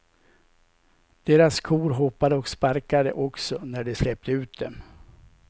Deras kor hoppade och sparkade också, när de släppte ut dem.